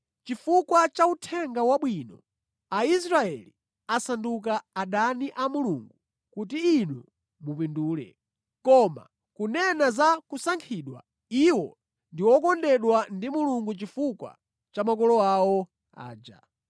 Chifukwa cha Uthenga Wabwino, Aisraeli asanduka adani a Mulungu kuti inu mupindule. Koma kunena za kusankhidwa, iwo ndi okondedwa ndi Mulungu chifukwa cha makolo awo aja.